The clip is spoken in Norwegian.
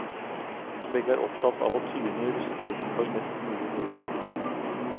Begge er opptatt av å tyne russetiden for mest mulig moro.